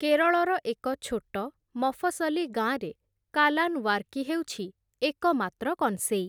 କେରଳର ଏକ ଛୋଟ, ମଫସଲି ଗାଁରେ କାଲାନ୍ ୱାର୍କି ହେଉଛି ଏକମାତ୍ର କଂସେଇ ।